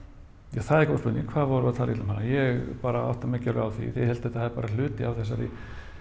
ja það er góð spurning hvað vorum við að tala illa um hana ég bara átta mig ekki á því því ég held það er bara hluti af þessari